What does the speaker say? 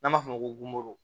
N'an b'a f'o ma ko